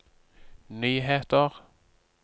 nyheter